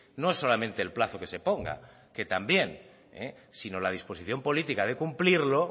no es solamente el plazo que se ponga que también sino la disposición política de cumplirlo